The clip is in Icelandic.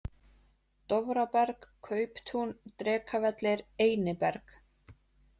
Dofraberg, Kauptún, Drekavellir, Einiberg